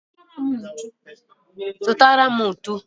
Zutara m ntu